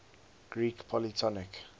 greek polytonic